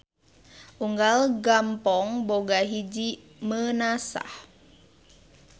Unggal gampong boga hiji Meunasah.